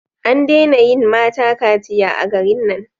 An dena yin mata kaciya a garin nan